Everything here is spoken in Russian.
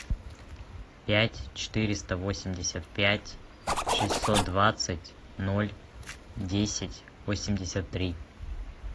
пять четыреста восемьдесят пять шестьсот двадцать ноль десять восемьдесят три